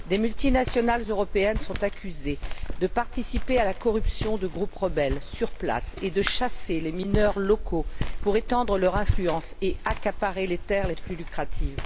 Des multinationales européennes sont accusées de participer à la corruption de groupes rebelles sur place et de chasser les mineurs locaux pour étendre leur influence et accaparer les terres les plus lucratives.